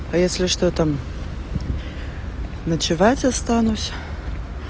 а если что там ночевать останусь